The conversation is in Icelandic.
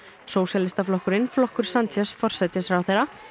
sósíalistaflokkurinn flokkur forsætisráðherra